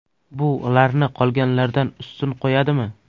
Bu ularni qolganlardan ustun qo‘yadimi?